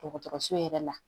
Dɔgɔtɔrɔso yɛrɛ la